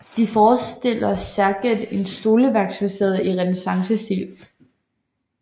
De forestiller særegent en stoleværksfacade i renæssancestil